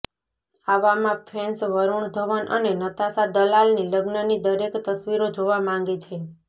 આવામાં ફેન્સ વરુણ ધવન અને નતાશા દલાલની લગ્નની દરેક તસવીરો જોવા માંગે છે